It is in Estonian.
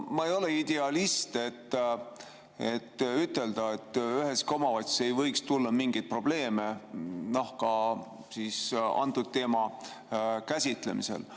Ma ei ole idealist, et ütelda, et üheski omavalitsuses ei võiks tulla mingeid probleeme, ka antud teema käsitlemisel.